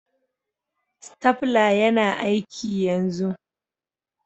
Stapler yana aiki yanzu.